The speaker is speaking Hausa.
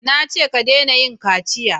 Na ce ka dena yin kaciya!